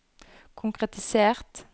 konkretisert